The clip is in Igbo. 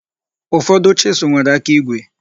Ụfọdụ chisụl nwere aka igwe.